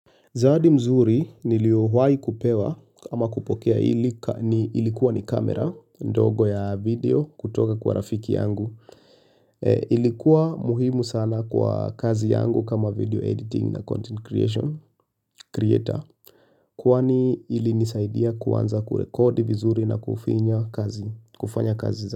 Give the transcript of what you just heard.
Zawadi mzuri niliowahi kupewa ama kupokea ilikuwa ni kamera ndogo ya video kutoka kwa rafiki yangu. Ilikuwa muhimu sana kwa kazi yangu kama video editing na content creation creator. Kwani ili nisaidia kuanza kurekodi vizuri na kufanya kazi za.